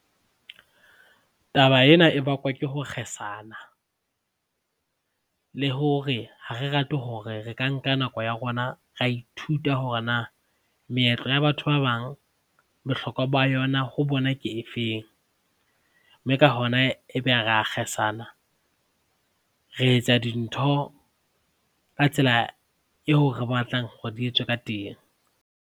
Taba ena e bakwa ke ho kgesana, le hore ha re rate hore re ka nka nako ya rona ra ithuta hore na meetlo ya batho ba bang bohlokwa ba yona ho bona ke efeng mme ka hona ebe ra kgesana re etsa dintho ka tsela eo re batlang hore di etswe ka teng.